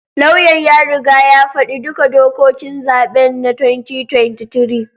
Lauyan ya riga ya faɗi duka dokokin zaben na 2023